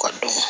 Ka dɔn